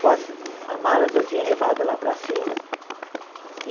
Com as a malas eu tinha levado lá para cima.